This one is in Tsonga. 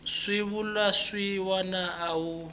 swivulwa swin wana a wu